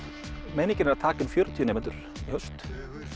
meiningin er að taka inn fjörutíu nemendur í haust